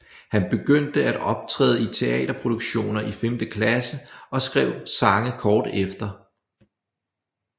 Han begyndte at optræde i teaterproduktioner i femte klasse og skrev sange kort efter